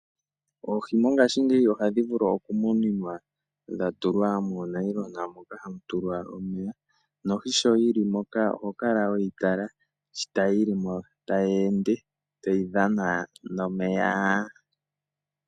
Oohi mongashingeyi ohadhi vulu oku muninwa dha tulwa moonayilona moka mwa tulwa omeya nohi sho yili moka oho kala weyi tala shi yili mo tayi ende, tayi dhana nomeya.